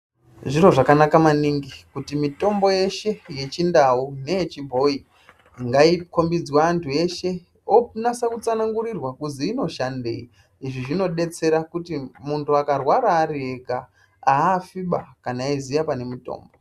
Zviro zvakanaka maningi kuti mitombo yeshe ye chindau neye chibhoyi ngai kombidzwe antu eshe onasa ku tsanangurirwa kuzi ino shandei izvi zvino detsera kuti muntu akarwara ari ega afiba kana eyi ziya pane mutombo.